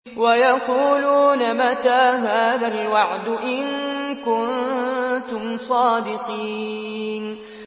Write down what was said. وَيَقُولُونَ مَتَىٰ هَٰذَا الْوَعْدُ إِن كُنتُمْ صَادِقِينَ